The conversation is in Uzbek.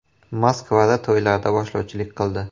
Moskvada to‘ylarda boshlovchilik qildi.